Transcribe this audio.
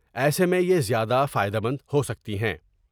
ایسے میں یہ زیادہ فائدہ مند ہوسکتی ہیں ۔